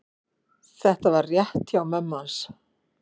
Þetta var rétt hjá mömmu hans.